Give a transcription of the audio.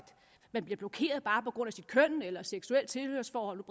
man bliver blokeret bare på grund af sit køn eller seksuelle tilhørsforhold